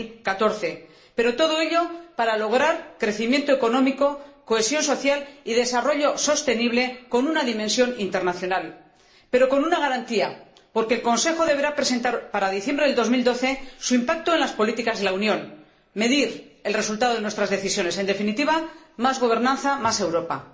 2014. Todo ello, para lograr crecimiento económico, cohesión social y desarrollo sostenible, con una dimensión internacional, pero con una garantía, porque el Consejo deberá presentar, para diciembre de 2012, su impacto en las políticas de la Unión, medir el resultado de nuestras decisiones. En definitiva, más gobernanza, más Europa.